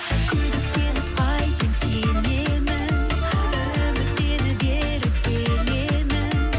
күдіктеніп қайтемін сенемін үміттеніп еріп келемін